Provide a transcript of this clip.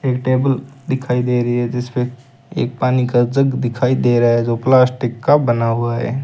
एक टेबल दिखाई दे रही है जिसपे एक पानी का जग दिखाई दे रहा है जो प्लास्टिक का बना हुआ है।